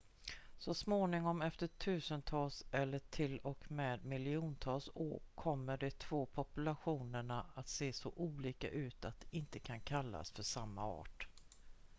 så småningom efter tusentals eller till och med miljontals år kommer de två populationerna att se så olika ut att de inte kan kallas för samma art